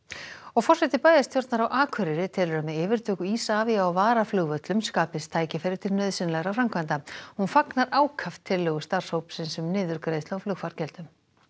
forseti bæjarstjórnar á Akureyri telur að með yfirtöku Isavia á varaflugvöllum skapist tækifæri til nauðsynlegra framkvæmda hún fagnar ákaft tillögu starfshópsins um niðurgreiðslu á flugfargjöldum